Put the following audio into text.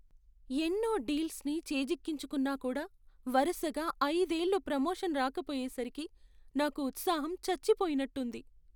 ఎన్నో డీల్స్ని చేజిక్కించుకున్నా కూడా వరసగా ఐదేళ్ళు ప్రొమోషన్ రాకపోయేసరికి నాకు ఉత్సాహం చచ్చిపోయినట్టు ఉంది.